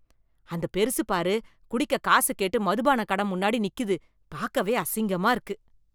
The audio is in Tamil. அந்த பெருசு பாரு, குடிக்க காசு கேட்டு மதுபான கட முன்னாடி நிக்கிது, பாக்கவே அசிங்கமா இருக்கு.